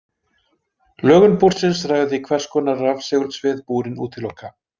Lögun búrsins ræður því hvers hvers konar rafsegulsvið búrin útiloka.